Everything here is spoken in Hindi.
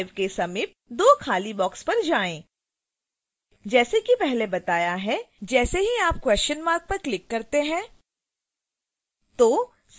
245 के समीप दो खाली boxes पर जाएँ जैसे कि पहले बताया है जैसे ही आप question mark पर क्लिक करते हैं